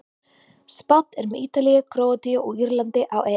Spánn er með Ítalíu, Króatíu og Írlandi á EM.